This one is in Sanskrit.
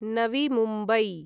नवी मुम्बई